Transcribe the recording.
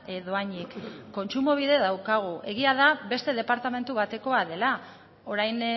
dohainik kontsumobide daukagu egia da beste departamentu batekoa dela orain